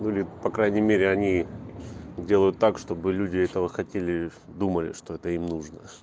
по крайней мере они делают так чтобы люди этого хотели думали что это им нужно